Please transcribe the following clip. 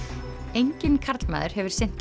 enginn karlmaður hefur sinnt